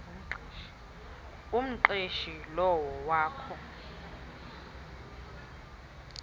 umqeshi lowo wakho